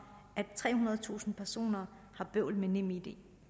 at trehundredetusind personer har bøvl med nemid